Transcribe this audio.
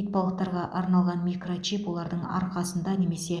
итбалықтарға арналған микрочип олардың арқасында немесе